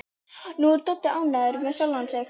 Nú er Doddi ánægður með sjálfan sig.